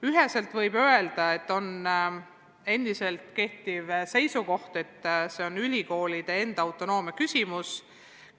Üheselt võib öelda, et endiselt kehtib seisukoht, et selle üle otsustamine on ülikoolide autonoomia küsimus.